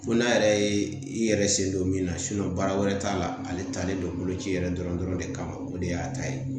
Ko n'a yɛrɛ ye i yɛrɛ sen don min na baara wɛrɛ t'a la ale talen don boloci yɛrɛ dɔrɔn de kama o de y'a ta ye